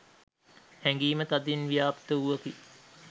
හැඟීම තදින් ව්‍යාප්ත වූවකි